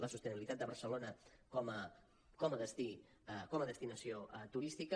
la sostenibilitat de barcelona com a destí com a destinació turística